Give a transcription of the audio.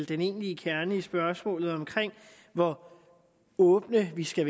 den egentlige kerne nemlig spørgsmålet om hvor åbne vi skal